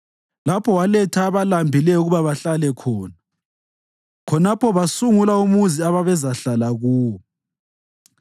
lapho waletha abalambileyo ukuba bahlale khona, khonapho basungula umuzi ababezahlala kuwo.